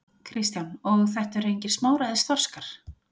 Kristján: Og þetta eru engir smáræðis þorskar?